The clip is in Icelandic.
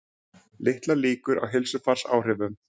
Litlar líkur á heilsufarsáhrifum